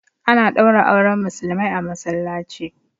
A na ɗaura auren Musulmai a Masallaci